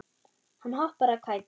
Hann hoppar af kæti.